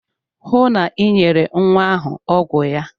Hụụ na Ị nyere nwa ahụ ọgwụ ya!